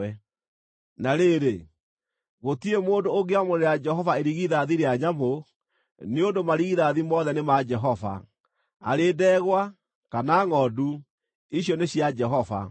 “ ‘Na rĩrĩ, gũtirĩ mũndũ ũngĩamũrĩra Jehova irigithathi rĩa nyamũ, nĩ ũndũ marigithathi mothe nĩ ma Jehova; arĩ ndegwa, kana ngʼondu, icio nĩ cia Jehova.